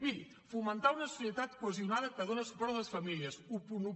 miri fomentar una societat cohesionada que dona suport a les famílies onze